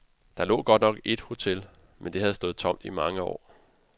Der lå godt nok et hotel, men det havde stået tomt i mange år.